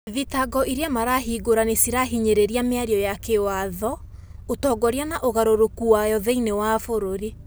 Thitango iria marahingũra nicirahinyereria miario ya kiwatho, utongoria na ugarũrũkũ mayo thiinie wa bũrũrĩ.